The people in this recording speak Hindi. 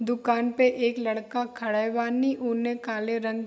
दुकान पे एक लड़का खड़े बानी उने काले रंग --